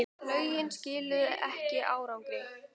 Lögin skiluðu ekki árangri